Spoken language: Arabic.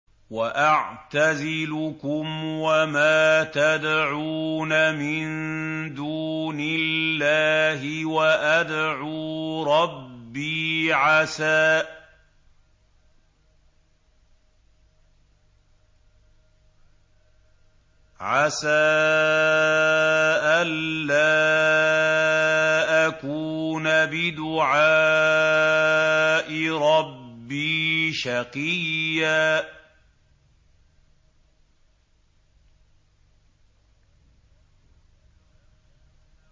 وَأَعْتَزِلُكُمْ وَمَا تَدْعُونَ مِن دُونِ اللَّهِ وَأَدْعُو رَبِّي عَسَىٰ أَلَّا أَكُونَ بِدُعَاءِ رَبِّي شَقِيًّا